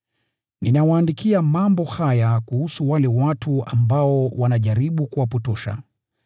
Nawaandikia mambo haya kuhusu wale watu ambao wanajaribu kuwapotosha.